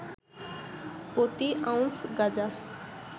প্রতি আউন্স গাজা